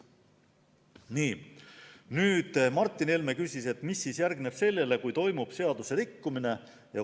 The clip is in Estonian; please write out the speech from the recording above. Martin Helme küsis, mis järgneb sellele, kui toimub seaduse rikkumine.